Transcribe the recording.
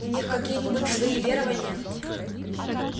у них какие-нибудь свои верования